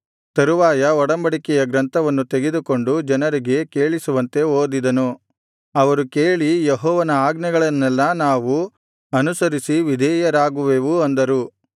ತರುವಾಯ ಒಡಂಬಡಿಕೆಯ ಗ್ರಂಥವನ್ನು ತೆಗೆದುಕೊಂಡು ಜನರಿಗೆ ಕೇಳಿಸುವಂತೆ ಓದಿದನು ಅವರು ಕೇಳಿ ಯೆಹೋವನ ಆಜ್ಞೆಗಳನ್ನೆಲ್ಲಾ ನಾವು ಅನುಸರಿಸಿ ವಿಧೇಯರಾಗುವೆವು ಅಂದರು